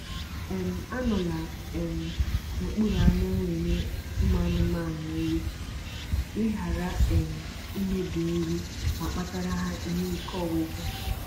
um Anọla um n'okpuru anyanwụ enye anụmanụ nri ka ị ghara um imebi nri ma kpatara ha ike ọgwụgwụ